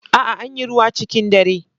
A'a, Anyi ruwa cikin dare.